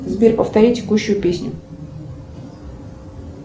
сбер повтори текущую песню